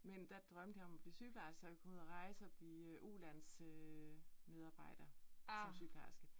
Men der drømte jeg om at blive sygeplejerske, så jeg kunne ud at rejse, og bliver ulandsmedarbejder, som sygeplejerske